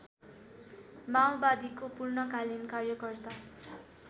माओवादीको पूर्णकालीन कार्यकर्ता